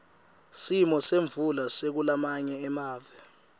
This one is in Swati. simo semvula sakulamanye amave